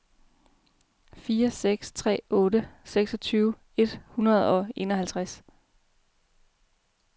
fire seks tre otte seksogtyve et hundrede og enoghalvtreds